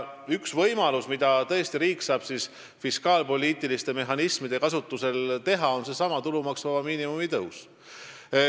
Üks võimalus, mida riik saab tõesti fiskaalpoliitiliste mehhanismide kasutamisega teha, on seesama tulumaksuvaba miinimumi tõus.